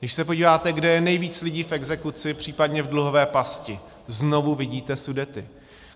Když se podíváte, kde je nejvíc lidí v exekuci, případně v dluhové pasti, znovu vidíte Sudety.